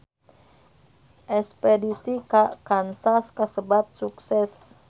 Espedisi ka Kansas kasebat sukses